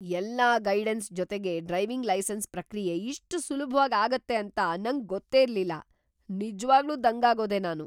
ಎಲ್ಲಾ ಗೈಡನ್ಸ್‌ ಜೊತೆಗೆ driving licence ಪ್ರಕ್ರಿಯೆ ಇಷ್ಟ್ ಸುಲ್ಭವಾಗ್‌ ಆಗತ್ತೆ ಅಂತ ನಂಗ್ ಗೊತ್ತೇ ಇರ್ಲಿಲ್ಲ, ನಿಜ್ವಾಗ್ಲೂ ದಂಗಾಗೋದೆ ನಾನು!